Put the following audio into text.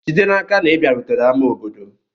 Jide n'aka na ị bịarutere ama obodo.